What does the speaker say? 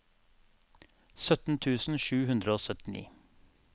sytten tusen sju hundre og syttini